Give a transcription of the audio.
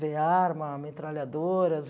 Ver arma, metralhadoras.